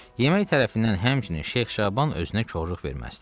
Yemək tərəfindən həmçinin Şeyx Şaban özünə korluq verməzdi.